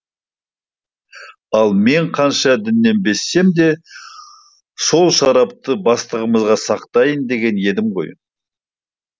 ал мен қанша діннен безсем де сол шарапты бастығымызға сақтайын деген едім ғой